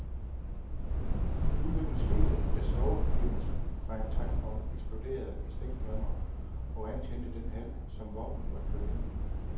Ulykken skete, da svovlforbindelser fra en tankvogn eksploderede i stikflammer og antændte den hal, som vognen var ført ind i.